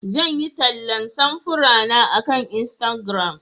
Zan yi tallan samfurana akan Instagram.